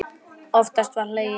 Oftast var hlegið.